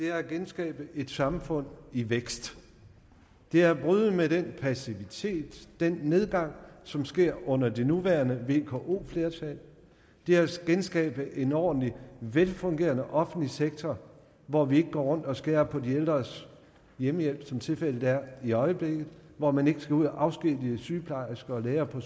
er at genskabe et samfund i vækst det er at bryde med den passivitet den nedgang som sker under det nuværende vko flertal det er at genskabe en ordentlig velfungerende offentlig sektor hvor vi ikke går rundt og skærer ned på de ældres hjemmehjælp som tilfældet er i øjeblikket hvor man ikke skal ud at afskedige sygeplejersker og læger på